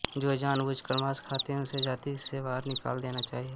जो जान बूझकर मांस खाता हो उसे जाति से बाहर निकाल देना चाहिए